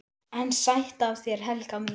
EN SÆTT AF ÞÉR, HELGA MÍN!